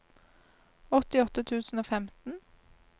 åttiåtte tusen og femten